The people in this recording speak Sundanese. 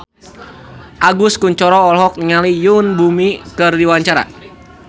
Agus Kuncoro olohok ningali Yoon Bomi keur diwawancara